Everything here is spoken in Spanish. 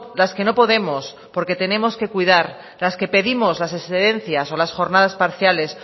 las que no podemos porque tenemos que cuidar las que pedimos las excedencias o las jornadas parciales